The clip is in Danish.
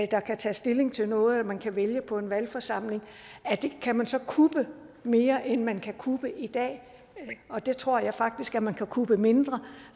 der kan tage stilling til noget og at man kan vælge på en valgforsamling kan man så kuppe mere end man kan kuppe i dag jeg tror faktisk man kan kuppe mindre